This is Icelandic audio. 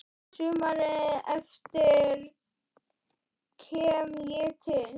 Sumarið eftir kem ég til